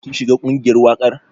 Kin shiga ƙungiyar waƙar?